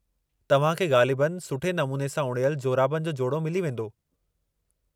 तव्हां खे ग़ालिबनि सुठे नमूने सां उणियल जोराबनि जो जोड़ो मिली वेंदो।